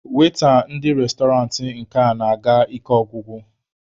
Waita ndị restọrantị nke a na-aga ike ọgwụgwụ.